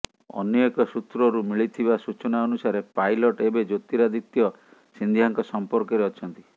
ଅନ୍ୟ ଏକ ସୂତ୍ରରୁ ମିଳୁଥିବା ସୂଚନା ଅନୁସାରେ ପାଇଲଟ ଏବେ ଜ୍ୟୋତିରାଦିତ୍ୟ ସିନ୍ଧିଆଙ୍କ ସମ୍ପର୍କରେ ଅଛନ୍ତି